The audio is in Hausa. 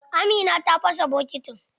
Amina ta fasa bokitin.